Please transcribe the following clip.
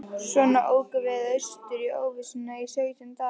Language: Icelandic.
Svona ókum við austur í óvissuna í sautján daga.